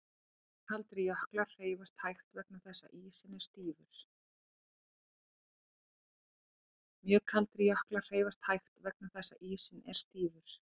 Mjög kaldir jöklar hreyfast hægt vegna þess að ísinn er stífur.